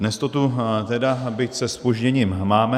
Dnes to tu tedy, byť se zpožděním, máme.